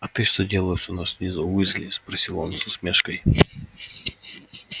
а ты что делаешь у нас внизу уизли спросил он с усмешкой